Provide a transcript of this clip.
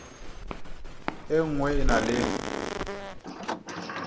e nngwe e na le